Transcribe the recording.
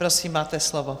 Prosím, máte slovo.